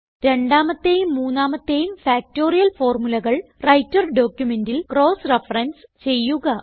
രണ്ടാമത്തേയും മൂന്നാമത്തേയും ഫാക്ടറിയൽ ഫോർമുലകൾ വ്രൈട്ടർ ഡോക്യുമെന്റിൽ ക്രോസ് റഫറൻസ് ചെയ്യുക